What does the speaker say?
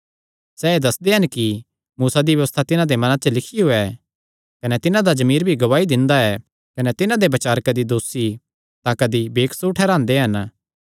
सैह़ एह़ दस्सदे हन कि मूसा दी व्यबस्था तिन्हां दे मनां च लिखियो ऐ कने तिन्हां दा जमीर भी गवाही दिंदा ऐ कने तिन्हां दे बचार कदी दोसी तां कदी बेकसूर ठैहरांदे हन